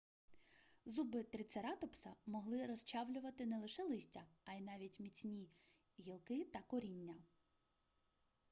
зуби трицератопса могли розчавлювати не лише листя а й навіть міцні гілки та коріння